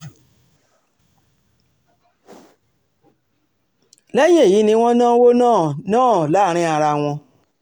lẹ́yìn èyí ni wọ́n náwó náà náà láàrin ara wọn